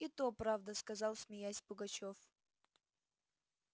и то правда сказал смеясь пугачёв